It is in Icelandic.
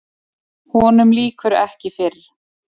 Honum lýkur ekki fyrr.